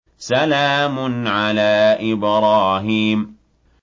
سَلَامٌ عَلَىٰ إِبْرَاهِيمَ